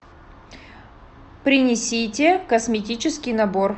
принесите косметический набор